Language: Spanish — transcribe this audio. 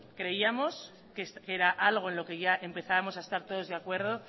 creíamos que era algo en lo que ya empezábamos a estar todos de acuerdo